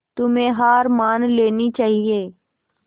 तुम्हें हार मान लेनी चाहियें